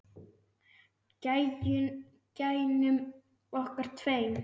Gæjunum okkar tveim.